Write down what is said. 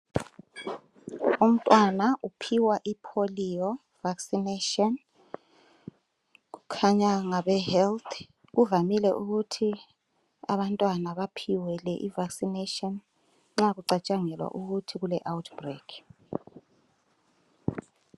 Umntwana uphiwa ipolio vaccination kukhanya ngabe health kuvamile ukuthi abantwana baphiwe le i vaccination nxa kucatshangelwa ukuthi kule outbreak.